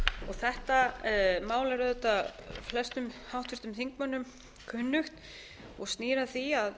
þetta mál er auðvitað flestum háttvirtum þingmönnum kunnugt og snýr að því að